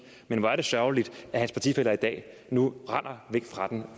men hvor er det sørgeligt at hans partifæller i dag nu render væk fra den